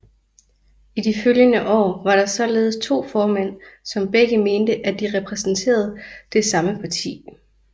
I de følgende år var der således to formænd som begge mente at de repræsenterede samme parti